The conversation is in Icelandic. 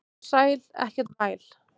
Vertu sæl, ekkert væl.